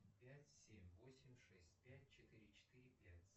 пять семь восемь шесть пять четыре четыре пять